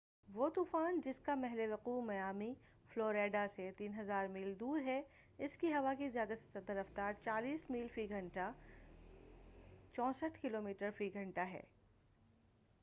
وہ طوفان جس کا محلِ وقوع میامی، فلوریڈا سے 3000 میل دور ہے، اس کی ہوا کی زیادہ سے زیادہ رفتار 40 میل فی گھنٹہ 64 کلو میٹر فی گھنٹہ ہے۔